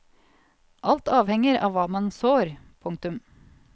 Alt avhenger av hva man sår. punktum